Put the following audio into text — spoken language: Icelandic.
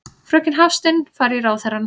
Fröken Hafstein fari í ráðherrann.